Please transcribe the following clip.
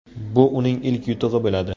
Bu uning ilk yutug‘i bo‘ladi.